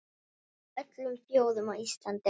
Af öllum þjóðum, á Íslandi?